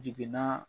Jiginna